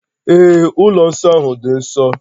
Ee, ụlọ nsọ ahụ dị nsọ